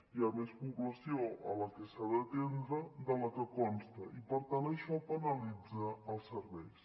hi ha més població a la que s’ha d’atendre de la que consta i per tant això penalitza els serveis